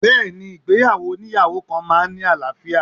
Bẹẹni, ìgbéyàwó oniyawo kan máa ń ní àlàáfíà.